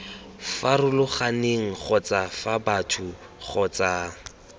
farologaneng kgotsa fa batho kgotsa